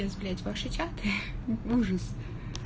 блядь ваши чаты ужас